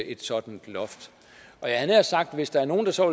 et sådant loft hvis der er nogen der så